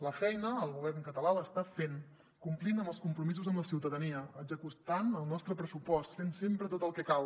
la feina el govern català l’està fent complint amb els compromisos amb la ciutadania executant el nostre pressupost fent sempre tot el que cal